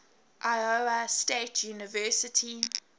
iowa state university